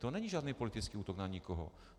To není žádný politický útok na nikoho.